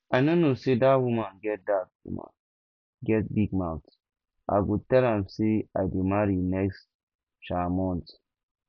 i no know say dat woman get dat woman get big mouth i go tell am say i dey marry next um month